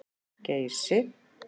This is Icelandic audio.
Geysi